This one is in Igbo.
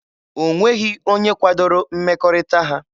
O nweghị onye kwadoro mmekọrịta ha.